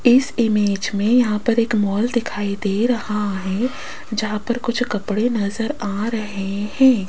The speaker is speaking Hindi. इस इमेज में यहां पर एक मॉल दिखाई दे रहा है जहां पर कुछ कपड़े नजर आ रहे हैं।